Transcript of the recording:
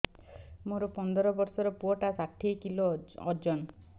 ମୋର ପନ୍ଦର ଵର୍ଷର ପୁଅ ଟା ଷାଠିଏ କିଲୋ ଅଜନ